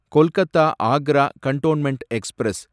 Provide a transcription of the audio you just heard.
Kolkata Agra cantonment express